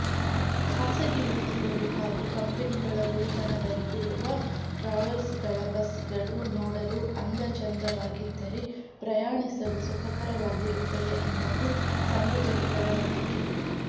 ಖಾಸಗಿ ವ್ಯಕ್ತಿಗಳು ಹಾಗೂ ಕಂಪನಿಗಳ ಒಡೆತನದಲ್ಲಿರುವ ಟ್ರಾವೆಲ್ಸ್ಗಳ ಬಸ್ಗಳು ನೋಡಲು ಅಂದಚೆಂದವಾಗಿದ್ದರೆ ಪ್ರಯಾಣಿಸಲು ಸುಖಕರವಾಗಿರುತ್ತದೆ ಅನ್ನೋದು ಸಾರ್ವಜನಿಕರ ನಂಬಿಕೆ